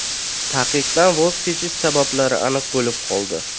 Taqiqdan voz kechish sabablari aniq bo‘lib qoldi.